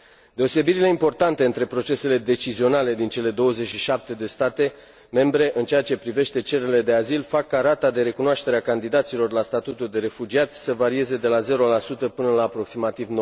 Deosebirile importante între procesele decizionale din cele 27 de state membre în ceea ce privește cererile de azil fac ca rata de recunoaștere a candidaților la statutul de refugiat să varieze de la 0 până la aproximativ